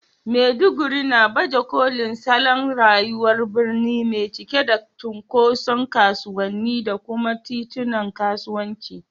Maiduguri na baje kolin salon rayuwar birni mai cike da cunkoson kasuwanni da kuma titunan kasuwanci.